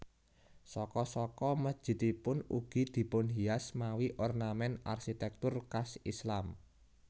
Saka saka mesjidipun ugi dipunhias mawi ornament arsitektur khas Islam